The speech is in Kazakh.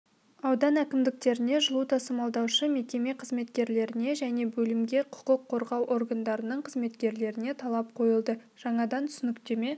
аудан әкімдіктеріне жылу тасымалдаушы мекеме қызметкерлеріне және бөлімге құқық қорғау органдарының қызметкерлеріне талап қойылды жаңадан түсініктеме